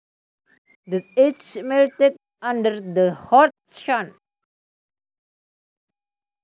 The ice melted under the hot sun